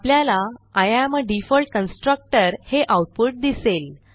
आपल्याला I am a default constructor हे output दिसेल